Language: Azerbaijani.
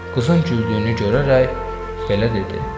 Qızın güldüyünü görərək belə dedi: